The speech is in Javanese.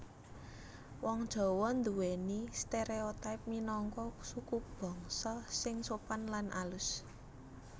Wong Jawa nduwèni stereotipe minangka sukubangsa sing sopan lan alus